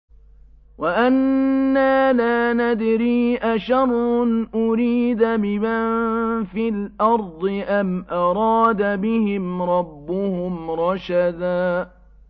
وَأَنَّا لَا نَدْرِي أَشَرٌّ أُرِيدَ بِمَن فِي الْأَرْضِ أَمْ أَرَادَ بِهِمْ رَبُّهُمْ رَشَدًا